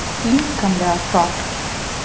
Líkamlega hvað?